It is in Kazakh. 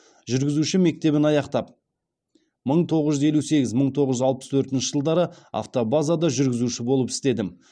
жүргізуші мектебін аяқтап мың тоғыз жүз елу сегіз мың тоғыз жүз алпыс төртінші жылдары автобазада жүргізуші болып істедім